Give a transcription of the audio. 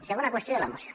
segona qüestió de la moció